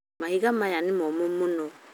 Mahiga maya nĩ momũ mũno